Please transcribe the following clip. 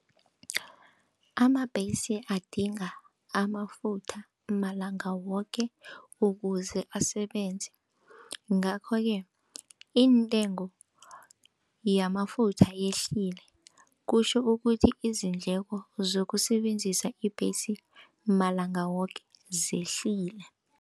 Amabhesi adinga amafutha malanga woke ukuze asebenze, ngakho-ke intengo yama lefutha yehlile kutjho ukuthi izindleko zokusebenzisa ibhesi malanga woke zehlile.